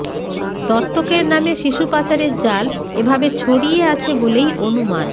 দত্তকের নামে শিশু পাচারের জাল এ ভাবে ছড়িয়ে আছে বলেই অনুমান